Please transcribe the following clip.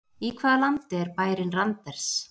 Í hvaða landi er bærinn Randers?